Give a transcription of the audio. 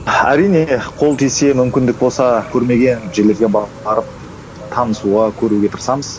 әрине қол тисе мүмкіндік болса көрмеген жерлерге барып танысуға көруге тырысамыз